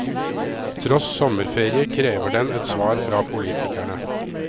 Tross sommerferie krever den et svar fra politikerne.